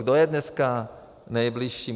Kdo je dneska nejbližší?